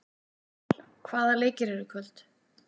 Daníval, hvaða leikir eru í kvöld?